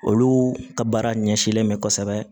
Olu ka baara ɲɛsinnen bɛ kosɛbɛ